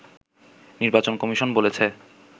নির্বাচন কমিশন বলেছে